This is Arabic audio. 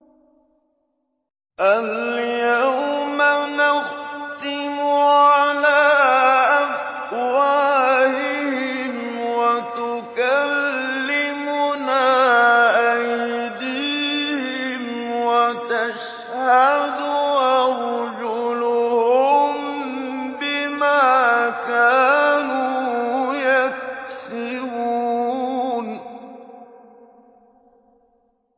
الْيَوْمَ نَخْتِمُ عَلَىٰ أَفْوَاهِهِمْ وَتُكَلِّمُنَا أَيْدِيهِمْ وَتَشْهَدُ أَرْجُلُهُم بِمَا كَانُوا يَكْسِبُونَ